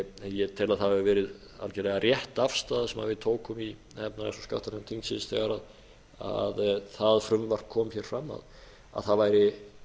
ég tel að það hafi verið algerlega rétt afstaða sem við tókum í efnahags og skattanefnd þingsins þegar það frumvarp kom hér fram að það væri